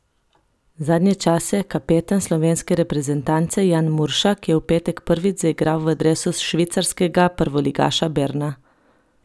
Zadnje čase kapetan slovenske reprezentance Jan Muršak je v petek prvič zaigral v dresu švicarskega prvoligaša Berna.